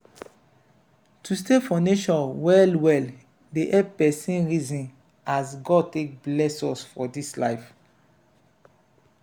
to stay for nature well-well dey help pesin reason as god take bless us for dis life.